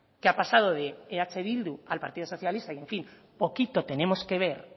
que ha pasado de eh bildu al partido socialista y en fin poquito tenemos que ver